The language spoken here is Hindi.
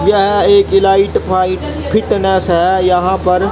यह एक इलाइट फाइट फिटनेस है यहां पर--